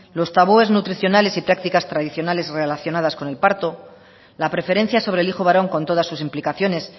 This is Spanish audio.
los tabúes nutricionales y prácticas tradicionales relacionadas con el parto la preferencia sobre el hijo varón con todas sus implicaciones